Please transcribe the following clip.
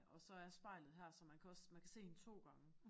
Og så er spejlet her så man kan også man kan se hende 2 gange